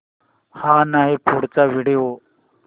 हा नाही पुढचा व्हिडिओ